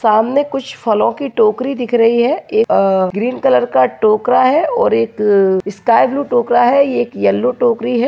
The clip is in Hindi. सामने कुछ फलो कि टोकरी दिख रही हैं एक ग्रीन कलर का टोकरा हैं और एक स्काई ब्लू टोकरा हैं ये एक येलो टोकरी हैं।